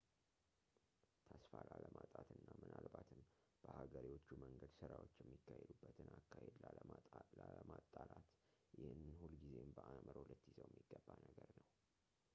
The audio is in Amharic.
ተስፋ ላለማጣትና ምናልባትም በሀገሬዎቹ መንገድ ስራዎች የሚካሄዱበትን አካሄድ ላለመጣላት ይህንን ሁልጊዜም በአእምሮህ ልትይዘው የሚገባ ነገር ነው